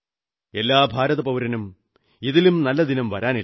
എല്ലാ ഭാരതപൌരനും ഇതിലും നല്ല ദിനം വരാനില്ല